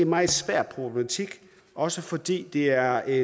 meget svær problematik også fordi det er